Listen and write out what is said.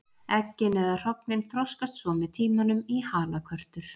Eggin eða hrognin þroskast svo með tímanum í halakörtur.